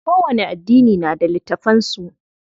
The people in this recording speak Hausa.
Kowani addini na da littafan su.